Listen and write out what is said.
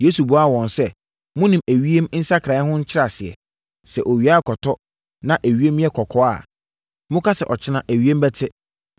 Yesu buaa wɔn sɛ, “Monim ewiem nsakraeɛ ho nkyerɛaseɛ. Sɛ owia rekɔtɔ, na ewiem yɛ kɔkɔɔ a, moka sɛ ɔkyena ewiem bɛte.